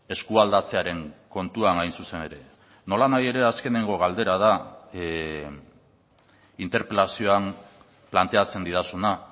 eskualdatzearen kontuan hain zuzen ere nolanahi ere azkeneko galdera da interpelazioan planteatzen didazuna